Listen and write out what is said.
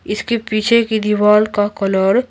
इसके पीछे की दीवार का कलर --